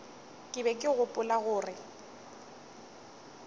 ke be ke gopola gore